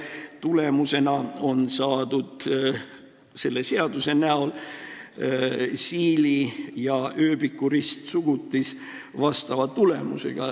Kokkuvõttes on selle seaduse näol saadud tulemus, mis vastab siili ja ööbiku ristsugutisele.